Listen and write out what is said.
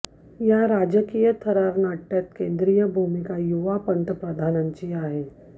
या राजकीय थरार नाटय़ात केंद्रीय भूमिका युवा पंतप्रधानाची आहे